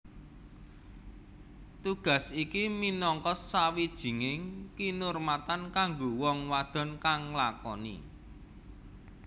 Tugas iki minangka sawijining kinurmatan kanggo wong wadon kang nglakoni